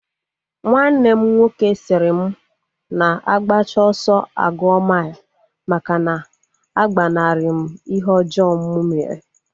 Nwanne m nwoke sịrị m na agbacha ọsọ aguo mile, maka na agbanari m ihe ọjọọ mụ mere